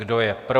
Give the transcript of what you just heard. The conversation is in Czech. Kdo je pro?